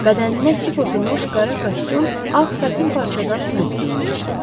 Bədəninə kip oturmuş qara kostyum, ağ satin parçadan bluz geyinmişdi.